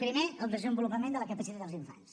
primer el desenvolupament de la capacitat dels infants